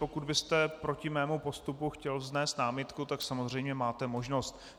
Pokud byste proti mému postupu chtěl vznést námitku, tak samozřejmě máte možnost.